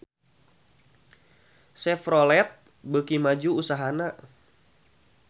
Chevrolet beuki maju usahana